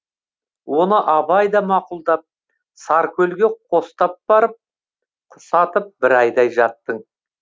оны абай да мақұлдап саркөлге қостап барып құс атып бір айдай жаттың